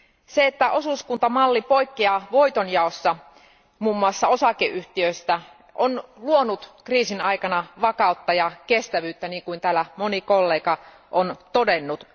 Se, että osuuskuntamalli poikkeaa voitonjaossa muun muassa osakeyhtiöistä, on luonut kriisin aikana vakautta ja kestävyyttä, niin kuin täällä moni kollega on todennut.